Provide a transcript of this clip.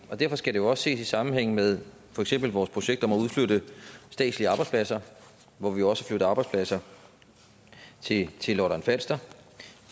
derfor skal det jo også ses i sammenhæng med for eksempel vores projekt om at udflytte statslige arbejdspladser hvor vi også flytter arbejdspladser til lolland falster